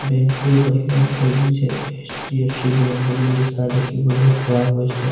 Bank টোৰ বাহিৰত এই এইচ_ডি_এফ_চি বেংক বুলি লিখা দেখিবলৈ পোৱা গৈছে।